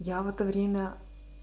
я в это время